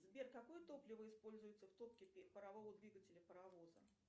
сбер какое топливо используется в топке парового двигателя паровоза